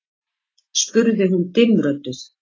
spurði hún dimmrödduð.